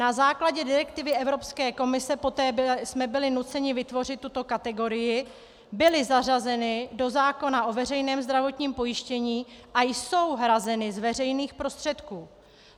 Na základě direktivy Evropské komise, kdy jsme byli nuceni vytvořit tuto kategorii, byly zařazeny do zákona o veřejném zdravotním pojištění a jsou hrazeny z veřejných prostředků.